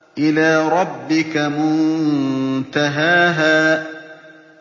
إِلَىٰ رَبِّكَ مُنتَهَاهَا